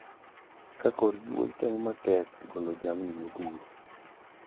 Ka korgi wuoyi temo matek golo jamni modhuro.